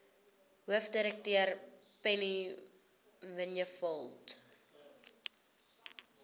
hoofdirekteur penny vinjevold